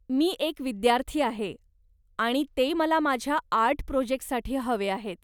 मी एक विद्यार्थी आहे आणि ते मला माझ्या आर्ट प्रोजेक्टसाठी हवे आहेत.